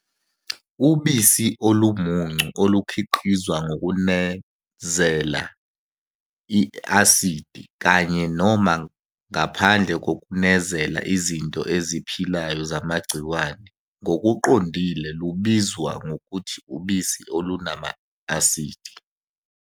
Ubisi olumuncu olukhiqizwa ngokunezela i-asidi, kanye noma ngaphandle kokunezela izinto eziphilayo zamagciwane, ngokuqondile lubizwa ngokuthi ubisi olunama-asidi.